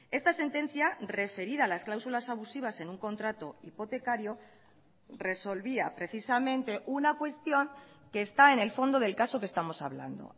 esta sentencia referida a las cláusulas abusivas en un contrato hipotecario resolvía precisamente una cuestión que está en el fondo del caso que estamos hablando